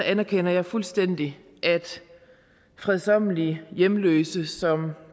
anerkender jeg fuldstændig at fredsommelige hjemløse som